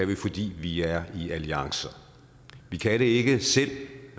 det fordi vi er i alliancer vi kan det ikke selv